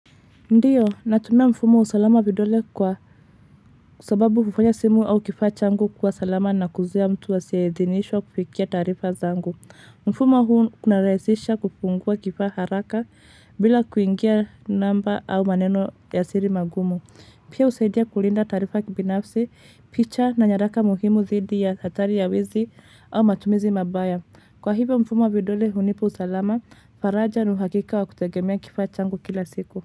Ndiyo, natumia mfumo wa usalama vidole kwa sababu hufanya simu au kifaa changu kuwa salama na kuzuia mtu asiayeidhinishwa kufikia tarifa zangu. Mfumo huu kuna rahisisha kufungua kifaa haraka bila kuingia namba au maneno ya siri magumu. Pia husaidia kulinda tarifa kibinafsi, picha na nyaraka muhimu dhidi ya hatari ya wezi au matumizi mabaya. Kwa hivyo mfumo wa vidole hunipa usalama, faraja na uhakika wa kutegemea kifaa changu kila siku.